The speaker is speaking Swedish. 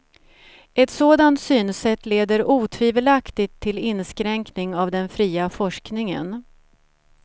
Ett sådant synsätt leder otvivelaktigt till inskränkning av den fria forskningen.